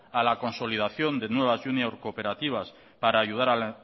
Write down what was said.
a la consolidación de nuevas junior cooperativas para ayudar al